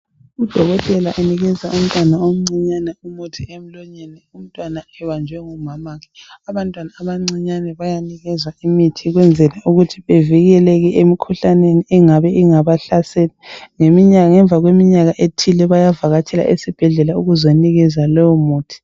Udokotela unikeza umntwana omncinyane umuthi emlonyeni umntwana ebanjwe ngumamakhe abantwana abancinyane bayanikezwa imithi ukwenzela ukuthi bavikeleke emikhuhlaneni engabe ingabahlasela ngemva kweminyaka ethile bayavakatshela esibhedlela ukuze anikezwe lowo muthi